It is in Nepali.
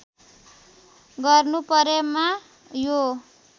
गर्नु परेमा यो